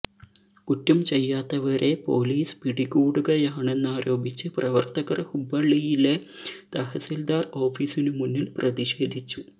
കുറ്റം ചെയ്യാത്തവരെ പോലീസ് പിടികൂടുകയാണെന്നാരോപിച്ച് പ്രവർത്തകർ ഹുബ്ബള്ളിയിലെ തഹസിൽദാർ ഓഫീസിനുമുന്നിൽ പ്രതിഷേധിച്ചു